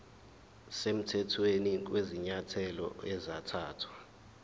semthethweni kwezinyathelo ezathathwa